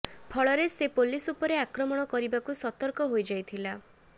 ଫଳରେ ସେ ପୁଲିସ୍ ଉପରେ ଆକ୍ରମଣ କରିବାକୁ ସତର୍କ ହୋଇଯାଇଥିଲା